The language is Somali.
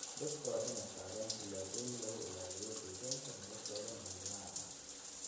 Dadka waa in ay qaadaan tallaabooyin lagu ilaaliyo deegaanka noloshooda maalinlaha ah.